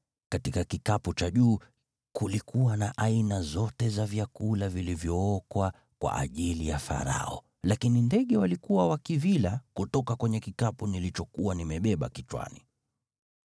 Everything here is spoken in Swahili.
Katika kikapu cha juu kulikuwa na aina zote za vyakula vilivyookwa kwa ajili ya Farao, lakini ndege walikuwa wakivila kutoka kwenye kikapu nilichokuwa nimebeba kichwani.”